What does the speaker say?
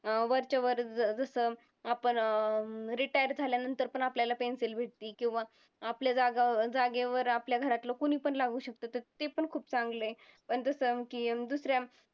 अं वरच्या वर जसं आपण अं retire झाल्यानंतर पण आपल्याला pension भेटती किंवा आपल्या जागेवर आपल्या घरातलं कुणीपण लागू शकतं तसं ते पण खूप चांगलं हे. पण तसं की दुसऱ्या